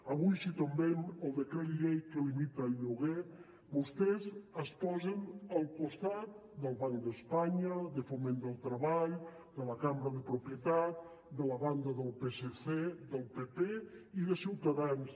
avui si tombem el decret llei que limita el lloguer vostès es posen al costat del banc d’espanya de foment del treball de la cambra de la propietat de la banda del psc del pp i de ciutadans